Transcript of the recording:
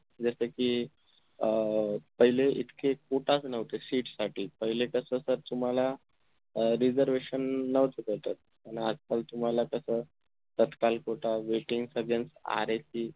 जस कि अह पहिले इतके quota च नव्हते seat साठी पहिले कस तर तुम्हाला अह reservation नव्हतं त्याच्यात अन आजकाल तुम्हाला कस तात्काळ quota waiting सगळंच RAC